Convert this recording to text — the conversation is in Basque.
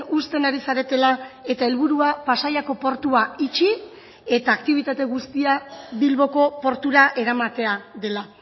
uzten ari zaretela eta helburua pasaiako portua itxi eta aktibitate guztia bilboko portura eramatea dela